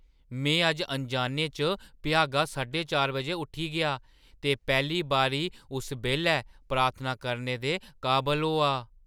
में अज्ज अनजाने च भ्यागा साढे चार बजे उट्ठी गेआ ते पैह्‌ली बारी उस बेल्लै प्रार्थना करने दे काबल होआ।